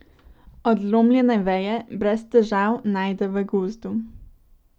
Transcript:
Odlomljene veje brez težav najde v gozdu.